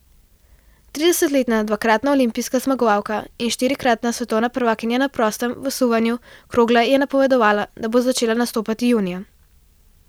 Tridesetletna dvakratna olimpijska zmagovalka in štirikratna svetovna prvakinja na prostem v suvanju krogle je napovedala, da bo začela nastopati junija.